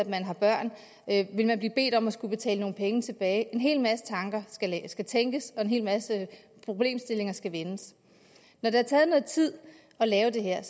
man har børn vil man blive bedt om at skulle betale nogle penge tilbage en hel masse tanker skal tænkes og en hel masse problemstillinger skal vendes når det har taget noget tid at lave det her